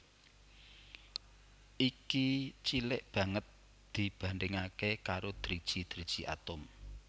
Iki cilik banget dibandhingaké karo driji driji atom